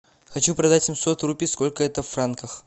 хочу продать семьсот рупий сколько это в франках